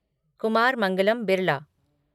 Kumar Mangalam Birla